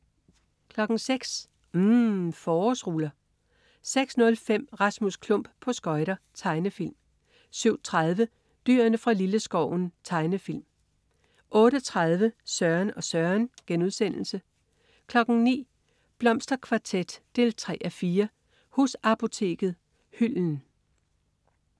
06.00 UMM. Forårsruller 06.05 Rasmus Klump på skøjter. Tegnefilm 07.30 Dyrene fra Lilleskoven. Tegnefilm 08.30 Søren og Søren* 09.00 Blomsterkvartet 3:4. Husapoteket. Hylden